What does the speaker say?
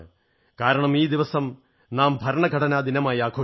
കാരണം ഈ ദിവസം നാം ഭരണഘടനാ ദിനമായി ആഘോഷിക്കുന്നു